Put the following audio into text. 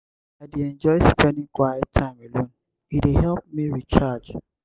i dey enjoy spending quiet time alone; e dey help me recharge.